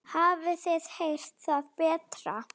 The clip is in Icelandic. Hafið þið heyrt það betra.